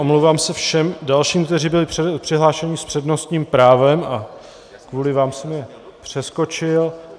Omlouvám se všem dalším, kteří byli přihlášeni s přednostním právem a kvůli vám jsem je přeskočil.